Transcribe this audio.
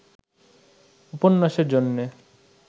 উপন্যাসের জন্যে